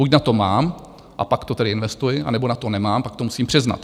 Buď na to mám, a pak to tedy investuji, anebo na to nemám, pak to musím přiznat.